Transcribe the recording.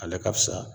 Ale ka fisa